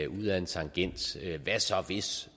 ud ad en tangent hvad så hvis